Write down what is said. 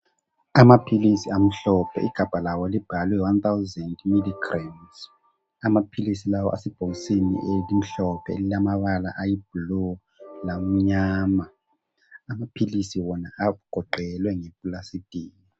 Amaphilisi amhlophe igabha lawo libhalwe 1000mgs. Amaphilisi lawa asebhokisini elimhlophe elilamabala ayiblue lamnyama. Amaphilisi wona agoqelwe ngeplasitiki.